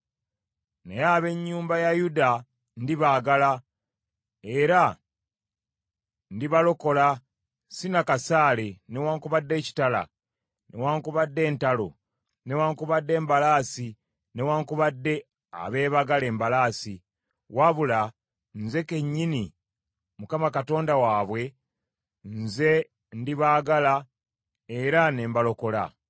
Naye ab’ennyumba ya Yuda ndibaagala, era ndibalokola, si na kasaale, newaakubadde ekitala, newaakubadde entalo, newaakubadde embalaasi newaakubadde abeebagala embalaasi, wabula nze kennyini Mukama Katonda waabwe nze ndibaagala era ne mbalokola.”